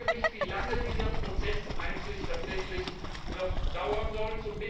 Ich frage mich, wie lange dieser Prozess eigentlich tatsächlich noch dauern soll.